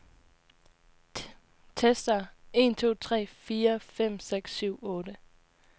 Tester en to tre fire fem seks syv otte.